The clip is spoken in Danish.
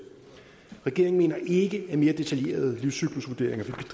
regeringen mener ikke at mere detaljerede livscyklusvurderinger